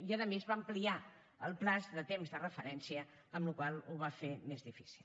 i a més va ampliar el termini de temps de referència amb la qual cosa ho va fer més difícil